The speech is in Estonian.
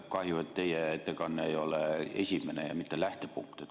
Kahju, et teie ettekanne ei olnud esimene ega ka mitte lähtepunkt.